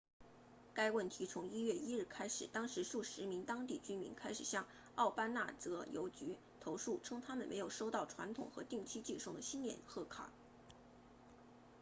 该问题从1月1日开始当时数十名当地居民开始向奥巴那泽邮局 obanazawa post office 投诉称他们没有收到传统和定期寄送的新年贺卡